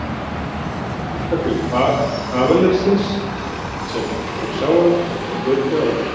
Mér varð hugsað til kavalersins sem ég sá hana með kvöldið áður.